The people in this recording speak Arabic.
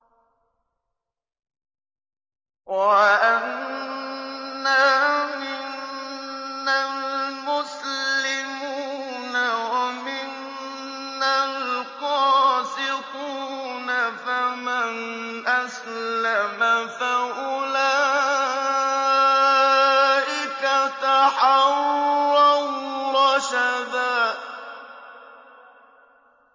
وَأَنَّا مِنَّا الْمُسْلِمُونَ وَمِنَّا الْقَاسِطُونَ ۖ فَمَنْ أَسْلَمَ فَأُولَٰئِكَ تَحَرَّوْا رَشَدًا